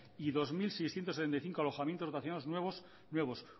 y dos mil seiscientos setenta y cinco alojamientos nuevos